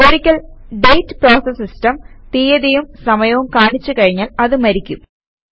ഒരിക്കൽ date process system തീയതിയും സമയവും കാണിച്ച് കഴിഞ്ഞാൽ അത് മരിക്കും